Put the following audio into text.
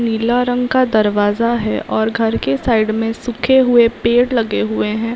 नीला रंग का दरवाजा है और घर के साइड मे सूखे हुए पेड़ लगे हुए है।